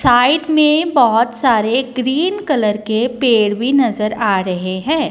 Side में बहोत सारे ग्रीन कलर के पेड़ भी नजर आ रहे हैं।